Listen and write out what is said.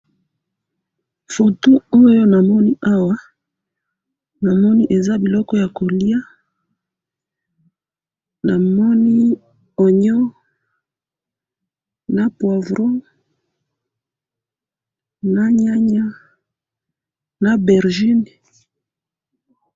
Foto oyo namoni awa, namoni eza biloko yakoliya, namoni oignon, na Poivron, na nyanya, na obergine.